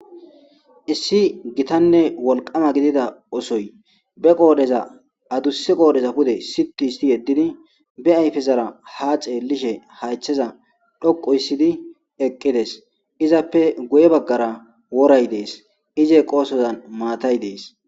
Issi gitanne wolqama gidida osoy be qoodeza adusse qoodeza pude situ isti yeddidi be ayfezara ha xeellishe haycheza dhoqu issidi eqqides izappe guye baggara woray dees ize qoosozan maatay dees.